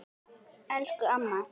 Elsku amma.